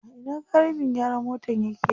A ina garejin gyaran motan yake?